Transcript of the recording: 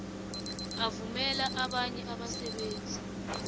avumela abanye abasebenzi